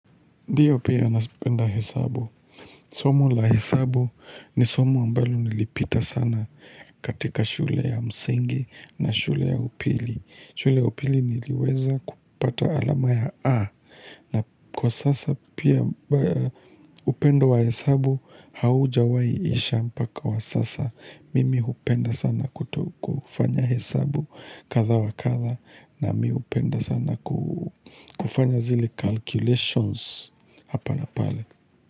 Ndiyo pia nazipenda hesabu. Somo la hesabu ni somo ambalo nilipita sana katika shule ya msingi na shule ya upili. Shule upili niliweza kupata alama ya A. Na kwa sasa pia upendo wa hesabu haujawahi isha mpaka wa sasa. Mimi upenda sana kufanya hesabu kadha wakadha. Nami hupenda sana kufanya zile calculations Hapa na pale.